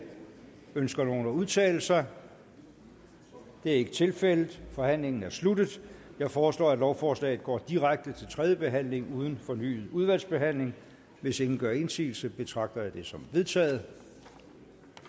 ønsker nogen at udtale sig det er ikke tilfældet forhandlingen er sluttet jeg foreslår at lovforslaget går direkte til tredje behandling uden fornyet udvalgsbehandling hvis ingen gør indsigelse betragter jeg det som vedtaget